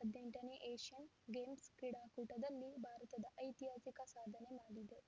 ಹದಿನೆಂಟು ನೇ Asian games ಕ್ರೀಡಾಕೂಟದಲ್ಲಿ ಭಾರತ ಐತಿಹಾಸಿಕ ಸಾಧನೆ ಮಾಡಿದೆ